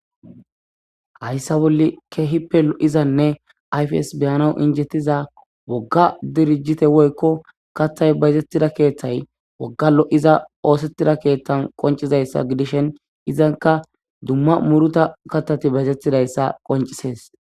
Hayssa bolle keehippe lo7izanne ayfs beyana injettiza wogga dirijite woykko katthay bayzettida keeththay wogga lo7iza oosettida keeththan qoncizayssa gidishen izanka dumma muruta katati baytettidayssa qoncisees.